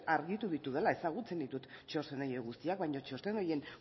argitu ditudala ezagutzen ditut txosten horiek guztiak baina txosten horien